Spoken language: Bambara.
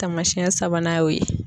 Taamasiyɛn sabanan y'o ye.